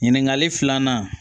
Ɲininkali filanan